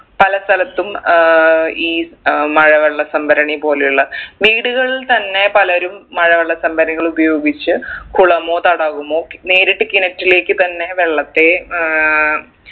പല സ്ഥലത്തും ഏർ ഈ ഏർ മഴവെള്ള സംഭരണി പോലെയുള്ള വീടുകളിൽ തന്നെ പലരും മഴവെള്ള സംഭരിണികൾ ഉപയോഗിച്ച് കുളമോ തടാകമോ നേരിട്ട് കിണറ്റിലേക്ക് തന്നെ വെള്ളത്തെ ഏർ